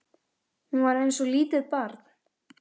Hún var eins og lítið barn.